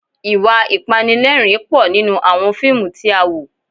Ìwà Ìpanilẹ́rìn-ín pọ̀ nínú àwọn fíìmù tí a wò